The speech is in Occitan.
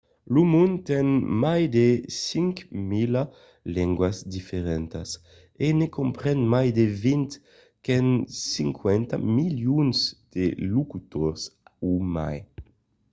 lo mond ten mai de 5.000 lengas diferentas e ne compren mai de vint qu’an 50 milions de locutors o mai